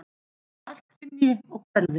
Að allt hrynji og hverfi.